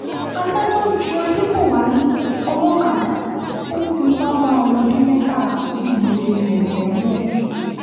adájọ́ ti ju adébọ̀wálé olókàdá tó fipá bá ọmọ ọdún mẹ́tàlá sùn nìléèfẹ̀ sẹ́wọ̀n